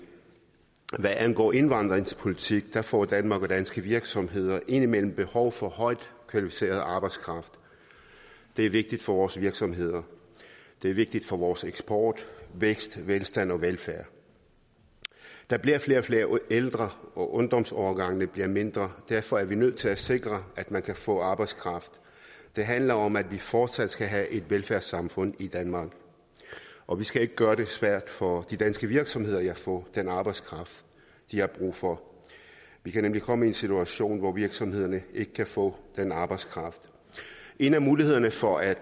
hvad angår indvandringspolitik får danmark og danske virksomheder indimellem behov for højt kvalificeret arbejdskraft det er vigtigt for vores virksomheder det er vigtigt for vores eksport vækst velstand og velfærd der bliver flere og flere ældre og ungdomsårgangene bliver mindre derfor er vi nødt til at sikre at man kan få arbejdskraft det handler om at vi fortsat skal have et velfærdssamfund i danmark og vi skal ikke gøre det svært for de danske virksomheder at få den arbejdskraft de har brug for vi kan nemlig komme i en situation hvor virksomhederne ikke kan få den arbejdskraft en af mulighederne for at